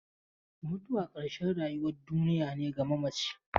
Mutuwa ƙarshen rayuwar duniya ne ga mamaci.